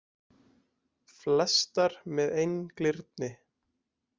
Flestar með einglyrni.